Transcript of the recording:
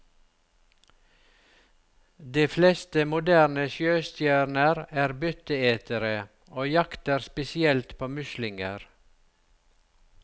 De fleste moderne sjøstjerner er byttetere, og jakter spesielt på muslinger.